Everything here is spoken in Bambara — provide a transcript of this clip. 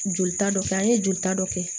Jolita dɔ kɛ an ye jolita dɔ kɛ